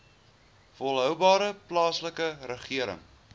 volhoubare plaaslike regering